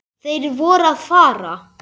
Þeir voru að fara.